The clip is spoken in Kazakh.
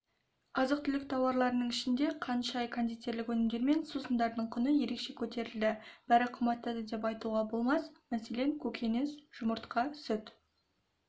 азық-түлік тауарларының ішінде қант шай кондитерлік өнімдер мен сусындардың құны ерекше көтерілді бәрі қымбаттады деп айтуға болмас мәселен көкөніс жұмыртқа сүт